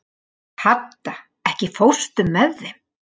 Hadda, ekki fórstu með þeim?